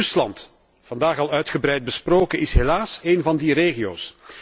Rusland, vandaag al uitgebreid besproken, is helaas één van die regio's.